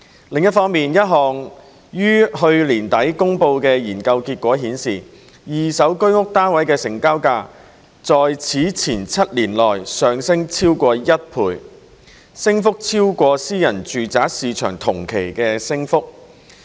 另一方面，一項於去年底公布的研究結果顯示，二手居屋單位的成交價在此前7年內上升超過一倍，升幅超過私人住宅市場同期的升幅。